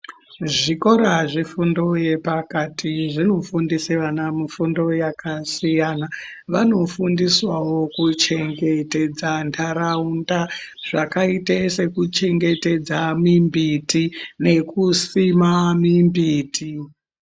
Zvikora zvefundo yepakati zvinofundise vana mifundo yakasiyana. Vanofundiswawo kuchengetedza ntaraunda zvakaite sekuchengetedza mimbiti nekusima mimbiti.